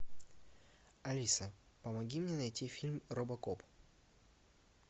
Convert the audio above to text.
алиса помоги мне найти фильм робокоп